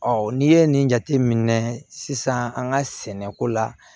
n'i ye nin jate minɛ sisan an ka sɛnɛko la